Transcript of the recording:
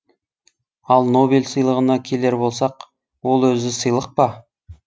ал нобель сыйлығына келер болсақ ол өзі сыйлық па